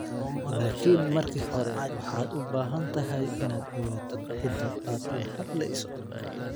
Laakiin marka hore waxaad u baahan tahay inaad ogaato cidda aad la hadlayso.